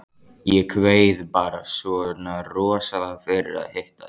Ég kveið bara svona rosalega fyrir að hitta þig.